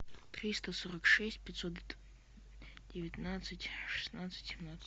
триста сорок шесть пятьсот девятнадцать шестнадцать семнадцать